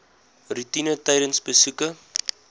roetine tydens besoeke